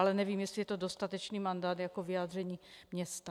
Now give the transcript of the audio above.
Ale nevím, jestli je to dostatečný mandát jako vyjádření města.